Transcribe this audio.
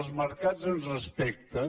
els mercats ens respecten